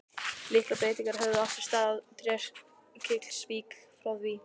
Litlar breytingar höfðu átt sér stað í Trékyllisvík frá því